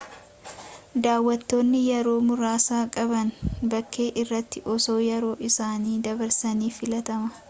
daawwattoonni yeroo muraasa qaban bakkee biraatti osoo yeroo isaanii dabarsanii filatama